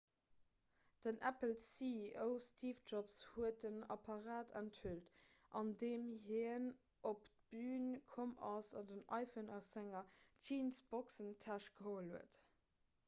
den apple-ceo steve jobs huet den apparat enthüllt andeem hien op d'bün komm ass an den iphone aus senger jeansboxentäsch geholl huet